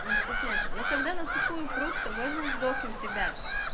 он стесняется но когда на сухую пруд то можно и сдохнуть ребят